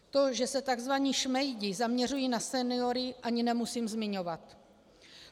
To, že se tzv. šmejdi zaměřují na seniory, ani nemusím zmiňovat.